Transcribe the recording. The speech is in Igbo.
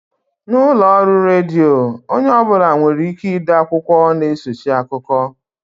N'ụlọọrụ redio, onye ọ bụla nwereike ide okwu na-esochi akụkọ